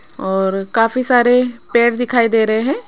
और काफी सारे पेड़ दिखाई दे रहे हैं।